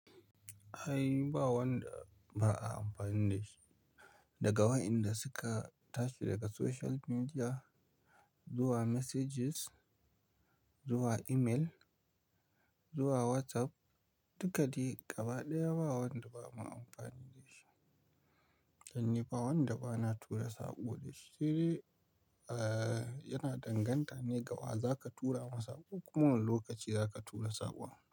Ai ba wanda ba a amfani da shi, daga wa'inda suka tashi daga social media. Zuwa messages, zuwa email, zuwa WhatsApp, duka dai gaba ɗaya ba wanda ba mu amfani da shi. Dan ni ba wanda ba na tura saƙo da shi, sai dai yana danganta ne ga wa zaka tura masa saƙo kuma wane lokaci zaka tura saƙon.